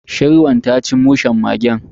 Shirwan ta ci mushen mage.